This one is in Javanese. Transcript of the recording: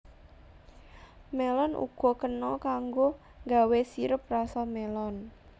Mélon uga kena kanggo nggawé sirup rasa mélon